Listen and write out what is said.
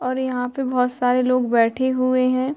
और यहाँ पे बहुत सारे लोग बैठे हुए है।